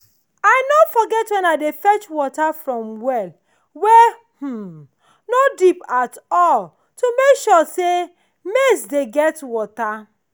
i no forget when i dey fetch water from well wey um no deep at all to make sure say maize dey get water.